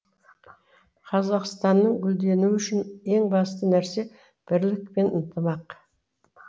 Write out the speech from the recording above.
қазақстанның гүлденуі үшін ең басты нәрсе бірлік пен ынтымақ